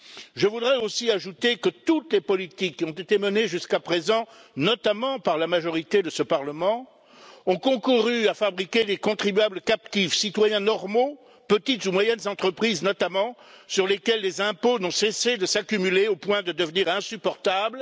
Je voudrais aussi ajouter que toutes les politiques qui ont été menées jusqu'à présent, notamment par la majorité de ce Parlement, ont concouru à fabriquer des contribuables captifs citoyens normaux, petites ou moyennes entreprises, notamment sur lesquels les impôts n'ont cessé de s'accumuler au point de devenir insupportables.